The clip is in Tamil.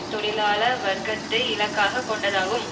தொழிலாள வர்க்கத்தை இலக்காக கொண்டதாகும்